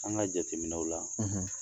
An ka jateminɛw la